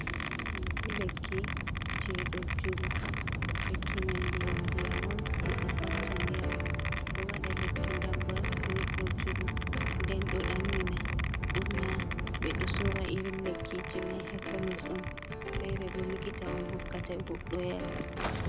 Kekki je ɗojjuru lekki mai ndiyam ndiyam on, goɗdo faccan yara, ɗo waɗa lekki damba be ɗojjuru nden ɗo ɗannina, ɓurna ɓe ɗo sora iri lekkije mai hakemis on fere bo likita on hokkata goɗɗo yera.